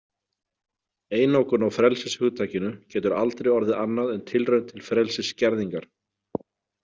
Einokun á frelsishugtakinu getur aldrei orðið annað en tilraun til frelsisskerðingar.